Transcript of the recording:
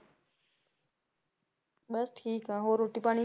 ਬਸ ਠੀਕ ਹਾਂ ਹੋਰ ਰੋਟੀ ਪਾਣੀ?